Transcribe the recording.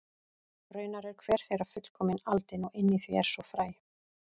Raunar er hver þeirra fullkomið aldin og inni í því er svo fræ.